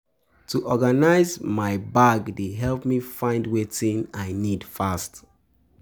To organize my bag dey help me find wetin I need fast.